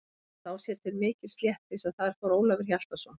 Hann sá sér til mikils léttis að þar fór Ólafur Hjaltason.